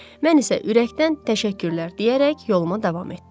Mən isə ürəkdən təşəkkürlər deyərək yoluma davam etdim.